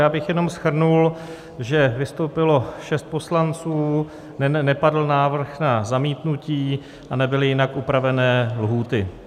Já bych jenom shrnul, že vystoupilo šest poslanců, nepadl návrh na zamítnutí a nebyly jinak upravené lhůty.